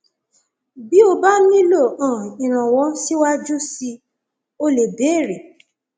bí o bá nílò um ìrànwọ síwájú síi o lè béèrè